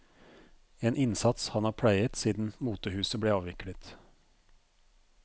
En innsats han har pleiet siden motehuset ble avviklet.